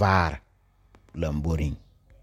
vaare lamboriŋ.